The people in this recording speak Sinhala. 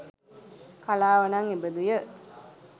කලාව නම් එබඳුය